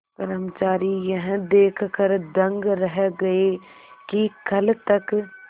कर्मचारी यह देखकर दंग रह गए कि कल तक